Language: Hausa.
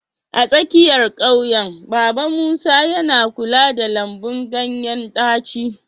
A tsakiyar ƙauyen, Baba Musa yana kula da lambun ganyen ɗaci.